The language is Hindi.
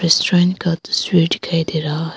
रेस्टोरेंट का दृश्य दिखाई दे रहा है।